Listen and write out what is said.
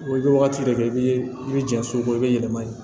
Wa i bɛ wagati de kɛ i bɛ i bɛ jan so ko i bɛ yɛlɛma yen